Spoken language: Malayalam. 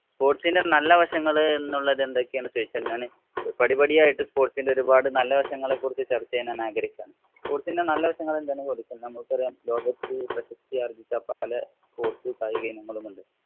Sports ഇന്‍റെ നല്ലവശങ്ങള്‍ എന്നുള്ളത് എന്തൊക്കെയാണെന്ന് ചോദിച്ചാല്‍ ഞാന് പടിപടിയായിട്ട് sports ഇന്‍റെ ഒരുപാട് നല്ല വശങ്ങളെ കുറിച്ച് ചര്‍ച്ച ചെയ്യാനാണ് ആഗ്രഹിക്കുകയാണ്. Sports ഇന്‍റെ നല്ലവശങ്ങള്‍ എന്താണെന്ന് ചോദിച്ചാല്‍ നമ്മക്കറിയാം ലോകത്ത് പ്രശസ്തി ആര്‍ജ്ജിച്ച പല sports കായിക ഇനങ്ങളും ഉണ്ട്.